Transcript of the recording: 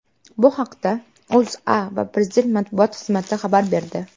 Bu haqda O‘zA va Prezident matbuot xizmati xabar berdi.